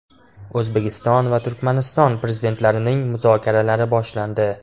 O‘zbekiston va Turkmaniston Prezidentlarining muzokaralari boshlandi.